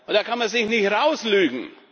Da kann man sich nicht herauslügen.